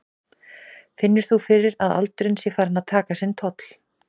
Finnur þú fyrir að aldurinn sé farinn að taka sinn toll?